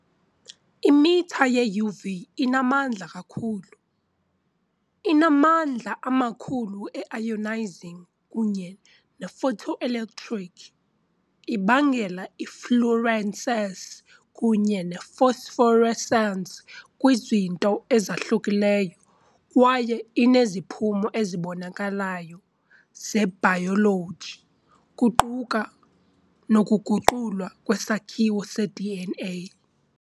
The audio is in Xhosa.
Imitha ye-UV inamandla kakhulu, inamandla amakhulu e-ionizing kunye ne-photoelectric, ibangela i-fluorescence kunye ne -phosphorescence kwizinto ezahlukeneyo, kwaye ineziphumo ezibonakalayo zebhayoloji, kuquka nokuguqulwa kwesakhiwo se -DNA .